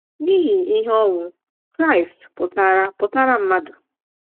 N’ihi ihe ọnwụ Kraịst pụtaara pụtaara mmadụ.